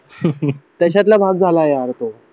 तशातला भाग झाला यार तो